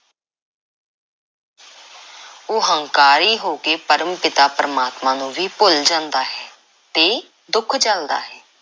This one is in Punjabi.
ਉਹ ਹੰਕਾਰੀ ਹੋ ਕੇ ਪਰਮ–ਪਿਤਾ ਪਰਮਾਤਮਾ ਨੂੰ ਵੀ ਭੁੱਲ ਜਾਂਦਾ ਹੈ ਤੇ ਦੁੱਖ ਝੱਲਦਾ ਹੈ।